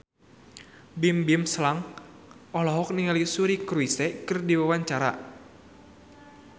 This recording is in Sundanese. Bimbim Slank olohok ningali Suri Cruise keur diwawancara